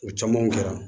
O caman kɛra